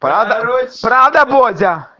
продам